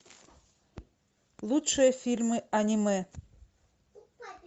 лучшие фильмы аниме